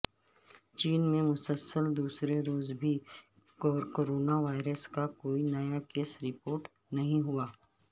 چین میں مسلسل دوسرے روز بھی کورونا وائرس کا کوئی نیا کیس رپورٹ نہ ہوا